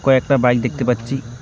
কয়েকটা বাইক দেখতে পাচ্ছি।